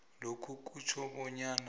lokhu kutjho bonyana